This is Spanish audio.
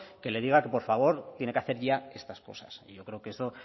que le diga que por favor tiene que hacer ya estas cosas yo creo que eso